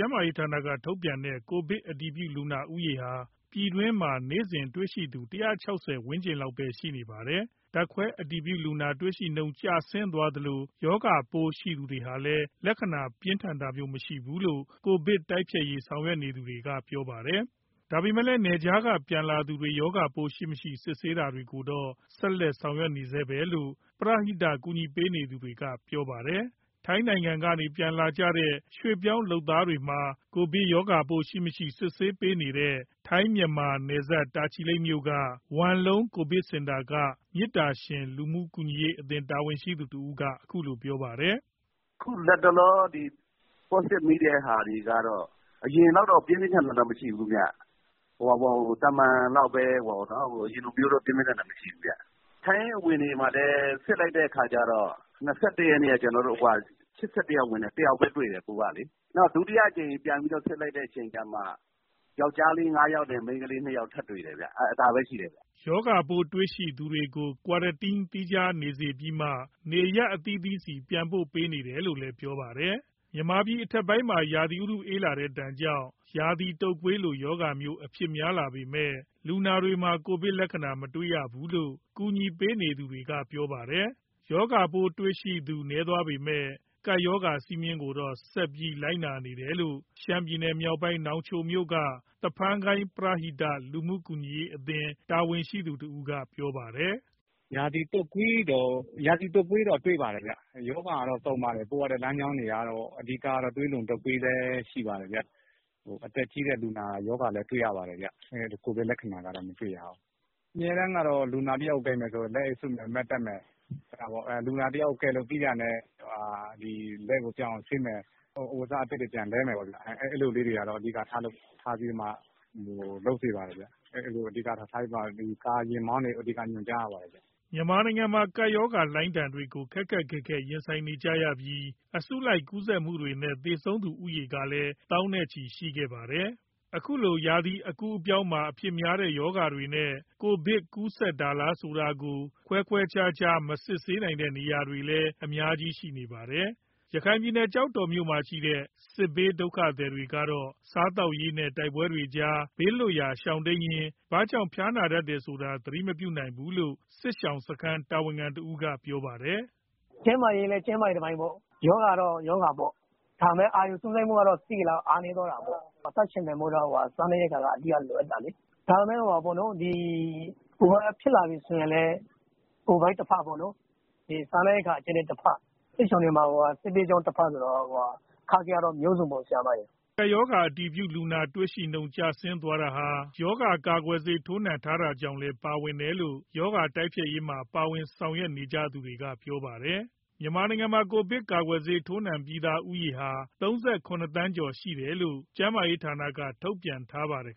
န်းမာရေးဌာနက ထုတ်ပြန်တဲ့ ကိုဗစ်အတည်ပြုလူနာ ဦးရေဟာ ပြည်တွင်းမှာ နေ့စဉ်တွေ့ရှိသူ ၁၆၀ ဝန်းကျင်လောက်မှာပဲ ရှိနေပါတယ်။ ဓာတ်ခွဲအတည်ပြု လူနာတွေ့ရှိနှုန်း ကျဆင်းသွားသလို ရောဂါပိုးရှိသူတွေမှာလည်း လက္ခဏာပြင်းထန်တာမျိုး မရှိဘူးလို့ ကိုဗစ်တိုက်ဖျက်ရေး ဆောင်ရွက်နေသူတွေက ပြောပါတယ်။ ဒါပေမဲ့လည်း နယ်ခြားက ပြန်လာသူတွေ ရောဂါပိုးရှိမရှိ စစ်ဆေးတာတွေကိုတော့ ဆက်လက် ဆောင်ရွက်နေဆဲပဲလို့ ပရဟိတ ကူညီ ပေးနေသူတွေက ပြောပါတယ်။ ထိုင်းနိုင်ငံကနေ ပြန်လာကြတဲ့ ရွှေ့ပြောင်းလုပ်သားတွေမှာ ကိုဗစ်ရောဂါပိုးရှိ မရှိ စစ်ဆေးပေးနေတဲ့ ထိုင်း - မြန်မာ နယ်စပ် တာချီလိတ်မြို့က ဝမ်လုံး ကိုဗစ်စင်တာက မေတ္တာရှင် လူမှုကူညီရေးအသင်း တာဝန်ရှိသူတဦးက အခုလို ပြောပါတယ်။ "အခုလက်တလော Positive မိတဲ့ သူတွေကတော့ အရင်လောက်တော့ ပြင်းပြင်းထန်ထန် မရှိဘူးခင်ဗျ။ ရောဂါလက္ခဏာ သာမန်လောက်ပဲ။ ထိုင်းအဝင်တွေမှာလည်း စစ်လိုက်တဲ့ အခါကျတော့ ၂၁ ရက်နေ့က ၈၁ ယောက်ဝင်တယ်၊ ၁ ယောက်ပဲ ပိုးတွေ့တယ်။ နောက် ဒုတိယအကြိမ် ပြန်ပြီးစစ်လိုက်မှ ယောကျ်ားလေး ၅ ယောက်နဲ့ မိန်းကလေး ၂ ယောက် ထပ်တွေ့တာပဲရှိတယ်။" ရောဂါပိုးတွေ့ရှိ သူတွေကို Quarantine သီးခြားနေစေပြီးမှ နေရပ်အသီးသီးဆီ ပြန်ပို့ပေးနေတယ်လို့လည်း ပြောပါတယ်။ မြန်မာပြည်အထက်ပိုင်းမှာ ရာသီဥတုအေးလာတဲ့ဒဏ်ကြောင့် ရာသီတုပ်ကွေးလို ရောဂါမျိုး အဖြစ်များလာပေမယ့် လူနာတွေမှာ ကိုဗစ်လက္ခဏာ မတွေ့ရဘူးလို့ ကူညီပေးနေသူတွေက ပြောပါတယ်။ ရောဂါပိုးတွေ့ရှိသူ နည်းသွားပေမယ့် ကပ်ရောဂါစည်းမျဉ်းတွေကိုတော့ ဆက်ပြီးလိုက်နာနေတယ်လို့ ရှမ်းပြည်နယ်မြောက်ပိုင်း နောင်ချိုမြို့က သဖန်းကိုင်း ပရဟိတ လူမှုကူညီရေးအသင်း တာဝန်ရှိသူတဦးက ပြောပါတယ်။ "ရာသီတုပ်ကွေးတော့ တွေ့ပါတယ်ဗျ။ ရောဂါတွေကတော့ စုံတယ်။ ပရဟိတလမ်းကြောင်းလည်း များတော့ သွေးလွန်တုပ်ကွေး ဖြစ်ကြတာလည်း တွေ့တယ်။ အသက်ကြီးတဲ့လူနာ ရောဂါလည်း တွေ့ရတယ်ဗျ။ ကိုဗစ်လက္ခဏာတော့ မတွေ့ရဘူး။ ပရဟိတဆောင်ရွက် သူတွေကတော့ လူနာတယောက် ကိုင်မယ်ဆိုရင် လက်အိတ်စွပ်မယ်၊ Mask တပ်မယ်။ လူနာကို ကယ်လို့ပြီးတာနဲ့ လက်ကိုပြောင်အောင် ဆေးမယ်၊ အဝတ်အစား အသစ်တွေ ပြန်လဲမယ်ပေါ့ဗျာ။ အဲဒါတွေတော့ အဓိကလုပ်ဖြစ်တယ်။ ယာဉ်မောင်းတွေကိုတော့ အဓိက ညွှန်ကြားရတယ်ဗျ။" မြန်မာနိုင်ငံမှာ ကပ်ရောဂါလှိုင်းဒဏ်တွေကို ခက်ခက်ခဲခဲ ရင်ဆိုင်ခဲ့ကြရပြီး အစုလိုက်ကူးစက်မှုတွေနဲ့ သေဆုံးသူဦးရေကလည်း သောင်းနဲ့ချီရှိခဲ့တာပါ။ အခုလို ရာသီအကူးအပြောင်းမှာ အဖြစ်များတဲ့ ရောဂါတွေနဲ့ ကိုဗစ် ကူးစက်တာလားဆိုတာကို ခွဲခွဲခြားခြား မစစ်ဆေးနိုင်တဲ့နေရာတွေလည်း အများကြီး ရှိနေပါတယ်။ ရခိုင်ပြည်နယ်၊ ကျောက်တော်မြို့မှာရှိတဲ့ စစ်ဘေးဒုက္ခသည်တွေကတော့ စားသောက်ရေး နဲ့ တိုက်ပွဲတွေကြား ဘေးလွတ်ရာ ရှောင်တိမ်းရင်း ဘာကြောင့် ဖျားနာတယ်ဆိုတာ သတိမပြုနိုင်သေးဘူးလို့ စစ်ရှောင်စခန်း တာဝန်ခံတဦးက ပြောပါတယ်။ "ကျန်းမာရေးလည်း ကျန်းမာရေးတပိုင်းပေါ့။ ရောဂါလည်း ရောဂါပေါ့။ ဒါပေမဲ့ အာရုံစူးစိုက်မှုကတော့ အားနည်းသွားတာပေါ့။ အသက်ရှင်သန်ဖို့တော့ စားနပ်ရိက္ခာက အဓိက လိုအပ်တာလေ။ ဒါပေမဲ့ ဖြစ်လာပြီဆိုရင်လည်း ကိုဗစ်တဖက်၊ စားနပ်ရိက္ခာ အကြပ်အတည်းတဖက်၊ စစ်ဘေးကြောင့်တဖက် ဆိုတော့ စစ်ရှောင်တွေမှာ အခက်အခဲကတော့ မျိုးစုံပေါ့။" ကပ်ရောဂါ အတည်ပြုလူနာ တွေ့ရှိနှုန်း ကျဆင်းသွားတာဟာ ရောဂါကာကွယ်ဆေး ထိုးနှံထားတာကြောင့်လည်း ပါဝင်တယ်လို့ ရောဂါတိုက်ဖျက်ရေးမှာ ပါဝင်ဆောင်ရွက်နေ သူတွေက ပြောပါတယ်။ မြန်မာနိုင်ငံမှာ ကိုဗစ် ၁၉ ရောဂါကာကွယ်ဆေး ထိုးနှံပြီးသူဦးရေဟာ ၃၇ သန်းကျော် ရှိထားတယ်လို့ ကျန်းမာရေးဌာနကတော့ ထုတ်ပြန်ထားပါတယ်